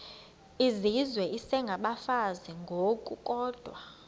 izizwe isengabafazi ngokukodwa